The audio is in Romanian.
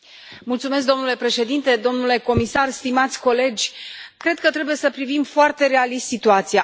Mulțumesc, domnule președinte, domnule comisar, stimați colegi, cred că trebuie să privim foarte realist situația.